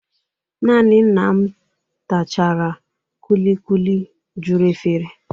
Nanị nna m tachara kulikuli juru efere.